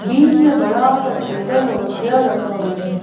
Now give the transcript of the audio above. बीच में बड़ा सा टेबल और चेयर रखा हुए हैं।